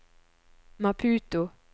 Maputo